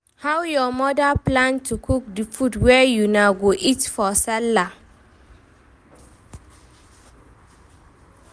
how your mother plan to cook di food wey una go eat for Sallah.